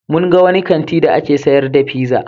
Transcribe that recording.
Mun ga wani kanti da ake sayar da pizza.